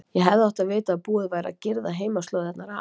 Ég hefði átt að vita að búið væri að girða heimaslóðirnar af.